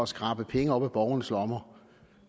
skrabe penge op af borgernes lommer